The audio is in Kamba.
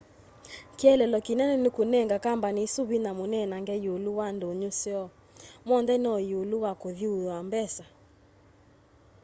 kielelo kinene ni kunenga kambani isu vinya munenange iulu wa ndunyu syoo monthe no iulu wa kuthyuua mbesa